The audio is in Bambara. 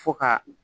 Fo ka